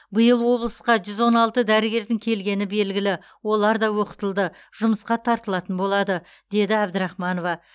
биыл облысқа жүз он алты дәрігердің келгені белгілі олар да оқытылды жұмысқа тартылатын болады деді әбдірахманова